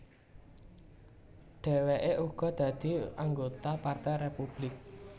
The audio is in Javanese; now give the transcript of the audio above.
Dhèwèké uga dadi anggota Partai Républik